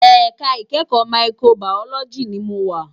Èká ikèékò máìkróbàyólòjí ni mó wá